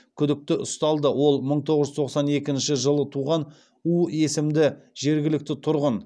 күдікті ұсталды ол мың тоғыз жүз тоқсан екінші жылы туған у есімді жергілікті тұрғын